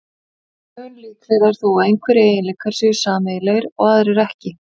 Mun líklegra er þó að einhverjir eiginleikar séu sameiginlegir og aðrir ekki.